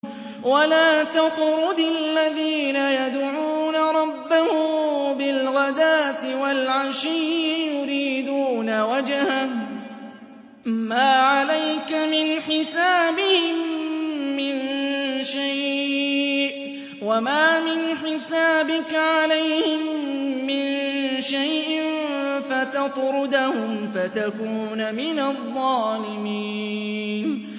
وَلَا تَطْرُدِ الَّذِينَ يَدْعُونَ رَبَّهُم بِالْغَدَاةِ وَالْعَشِيِّ يُرِيدُونَ وَجْهَهُ ۖ مَا عَلَيْكَ مِنْ حِسَابِهِم مِّن شَيْءٍ وَمَا مِنْ حِسَابِكَ عَلَيْهِم مِّن شَيْءٍ فَتَطْرُدَهُمْ فَتَكُونَ مِنَ الظَّالِمِينَ